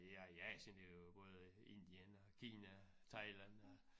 Ja i Asien det jo både Indien og Kina Thailand og